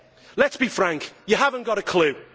Let us be frank, you have not got a clue.